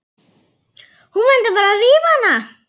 Hún mundi bara rífa hana.